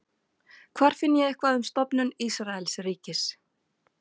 hvar finn ég eitthvað um stofnun ísraelsríkis